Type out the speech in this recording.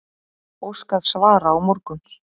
Óskað svara á morgun